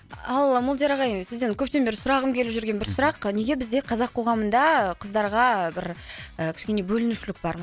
ал молдияр ағай сізден көптен бері сұрағым келіп жүрген бір сұрақ неге бізде қазақ қоғамында қыздарға бір кішкене і бөлінушілік бар